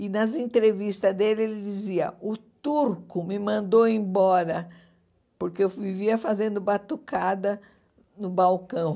E, nas entrevistas dele, ele dizia, o turco me mandou embora, porque eu vivia fazendo batucada no balcão.